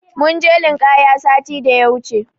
Mun je linƙaya sati da ya wuce.